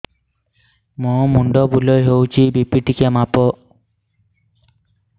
ମୋ ମୁଣ୍ଡ ବୁଲେଇ ହଉଚି ବି.ପି ଟିକେ ମାପ